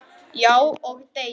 Já, og deyja